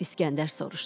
İskəndər soruştu: